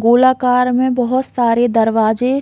गोलाकार में बहुत सारे दरवाजे--